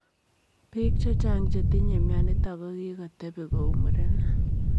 Piik chechang chetinye mionitok ko kikotepii kou murenik,